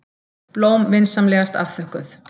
Blóm vinsamlegast afþökkuð.